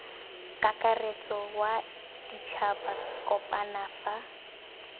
kakaretso wa ditšhaba kopano fa